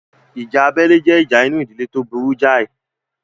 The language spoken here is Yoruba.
Ìjà abẹ́lé jẹ́ ìjà inú ìdílé tó burú jáì